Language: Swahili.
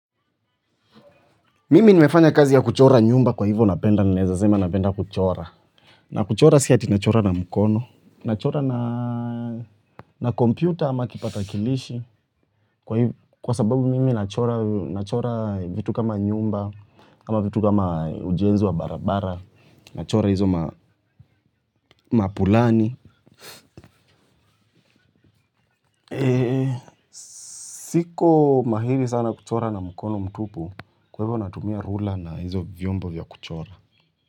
Mimi nimefanya kazi ya kuchora nyumba kwa hivyo napenda ninaeza sema napenda kuchora na kuchora si ati nachora na mkono nachora na na kompyuta ama kipakatalishi kwa sababu mimi nachora vitu kama nyumba ama vitu kama ujenzi wa barabara. Nachora hizo maplani. Siko mahiri sana kuchora na mkono mtupu kwa hivyo natumia rula na hizo vyombo vya kuchora.